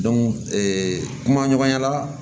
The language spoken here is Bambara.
kuma ɲɔgɔnya la